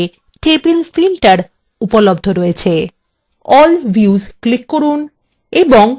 all views click করুন এবং books table নির্বাচন করুন